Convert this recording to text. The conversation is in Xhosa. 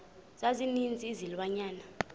za ninzi izilwanyana